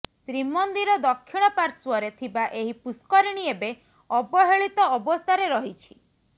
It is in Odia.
ଶ୍ରୀମନ୍ଦିର ଦକ୍ଷିଣ ପାର୍ଶ୍ବରେ ଥିବା ଏହି ପୁଷ୍କରିଣୀ ଏବେ ଅବହେଳିତ ଅବସ୍ଥାରେ ରହିଛି